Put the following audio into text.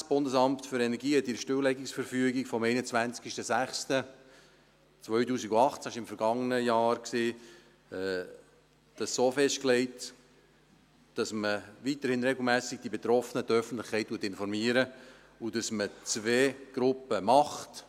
Das Bundesamt für Energie hat legte in der Stilllegungsverfügung vom 21.06.2018, im vergangenen Jahr, so fest, dass man weiterhin regelmässig die Betroffenen, die Öffentlichkeit informiert und dass man zwei Gruppen macht.